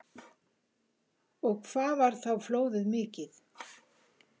Og hvað var þá flóðið mikið?